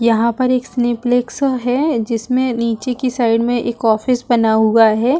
यहाँ पर एक स्लिप लेक्सों है जिसमे नीचे की साइड में एक ऑफिस बना हुआ है।